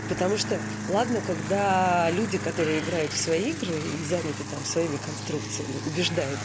потому что ладно когда люди которые играют в свои игры и заняты там своими конструкциями убеждают